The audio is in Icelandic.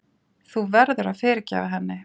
Þú verður að fyrirgefa henni.